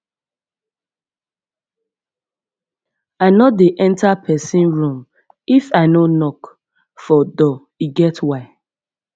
i no dey enta pesin room if i no knock for door e get why